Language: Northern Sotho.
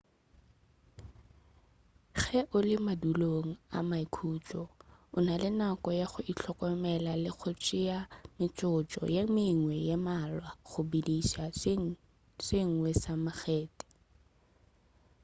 ge o le madulong a maikhutšo o na le nako ya go ihlokomela le go tšea metsotso ye mengwe ye mmalwa go bediša se sengwe sa makgethe